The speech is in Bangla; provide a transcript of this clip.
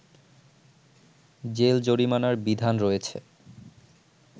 জেল জরিমানার বিধান রয়েছে